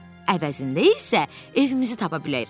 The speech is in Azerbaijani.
Əvəzində isə evimizi tapa bilərik.